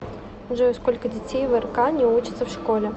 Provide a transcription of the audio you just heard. джой сколько детей в рк не учатся в школе